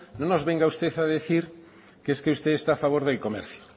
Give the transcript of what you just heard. no nos venga usted a decir que es que usted está a favor del comercio